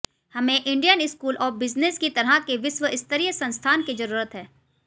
हमें Indian school of business की तरह के विश्वस्तरीय संस्थान की जरूरत है